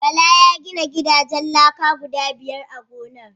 Bala ya gina gidajen laka guda biyar a gonar.